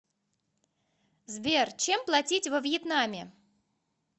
сбер чем платить во вьетнаме